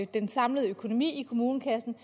den samlede økonomi i kommunekassen